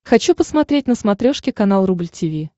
хочу посмотреть на смотрешке канал рубль ти ви